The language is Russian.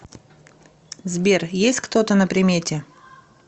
сбер есть кто то на примете